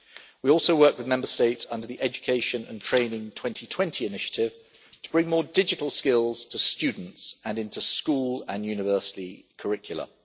We also work with Member States under the Education and Training 2020 Initiative to bring more digital skills to students and into school and university curricula.